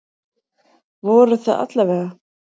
Voru það alla vega.